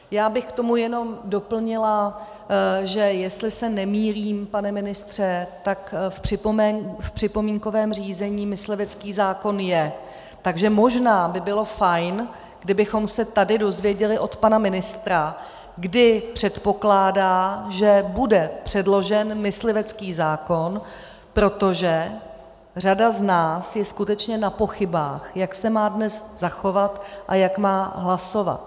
Já bych k tomu jenom doplnila, že jestli se nemýlím, pane ministře, tak v připomínkovém řízení myslivecký zákon je, takže možná by bylo fajn, kdybychom se tady dozvěděli od pana ministra, kdy předpokládá, kdy bude předložen myslivecký zákon, protože řada z nás je skutečně na pochybách, jak se má dnes zachovat a jak má hlasovat.